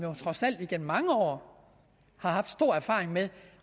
trods alt igennem mange år har haft stor erfaring med